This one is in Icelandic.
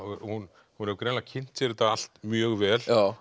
hún hefur greinilega kynnt sér þetta allt mjög vel